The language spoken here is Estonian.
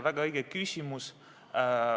Väga õige küsimus.